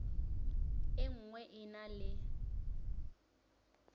e nngwe e na le